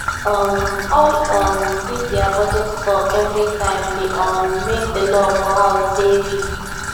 um all um these their budget talk every time dey um make the love for house dey weak